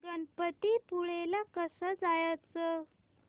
गणपतीपुळे ला कसं जायचं